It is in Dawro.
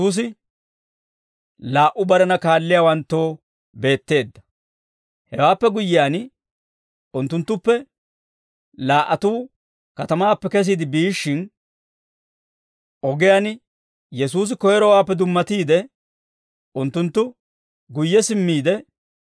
Hewaappe guyyiyaan, unttunttuppe laa"atuu katamaappe kesiide biishshin, ogiyaan Yesuusi koyrowaappe dummatiide, unttunttoo beetteedda.